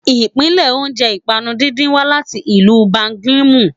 Ìpilẹ̀ṣẹ̀ oúnjẹ ìpànu díndín wá láti ìlú belgiumu